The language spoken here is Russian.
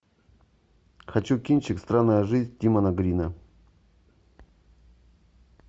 хочу кинчик странная жизнь тимоти грина